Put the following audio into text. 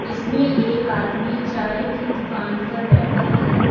इसमें एक आदमी चाय की दुकान पर बैठा है।